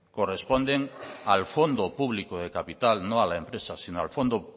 corresponden al fondo público de capital no a la empresa sino al fondo